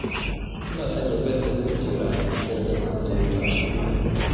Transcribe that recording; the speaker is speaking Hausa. Ina sanya bel ɗin kujera idan zan tuƙa mota a kullum.